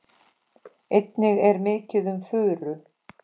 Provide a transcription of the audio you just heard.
Einnig er mikið um furu.